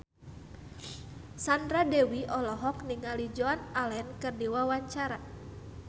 Sandra Dewi olohok ningali Joan Allen keur diwawancara